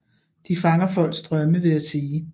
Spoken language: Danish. De fanger folks drømme ved at sige